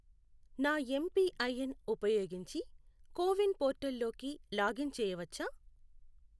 నా ఎంపిఐఎన్ ఉపయోగించి CoWIN portal లోకి లాగిన్ చేయవచ్చా?